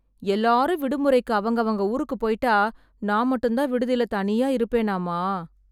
எல்லாரும் விடுமுறைக்கு அவங்கவங்க ஊருக்கு போய்ட்டா, நான் மட்டும்தான் விடுதில தனியா இருப்பேனாமா...